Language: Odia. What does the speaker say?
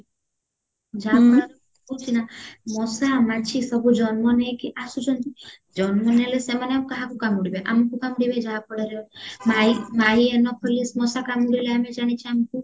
ଯାହା ଫଳରେ କଣ ହଉଚି ନା ମଶା ମାଛି ସବୁ ଜନ୍ମ ନେଇକି ଆସୁଛନ୍ତି ଜନ୍ମ ନେଲେ ସେମାନେ ଆଉ କାହାକୁ କାମୁଡିବେ ଆମକୁ କାମୁଡିବେ ଯାହା ଫଳରେ ମାଈ ମାଈ ଏନୋଫୋଳିଶ ମଶା କାମୁଡିଲେ ଆମେ ଜାଣିଛେ ଆମକୁ